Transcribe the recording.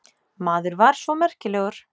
Maður var svo merkilegur.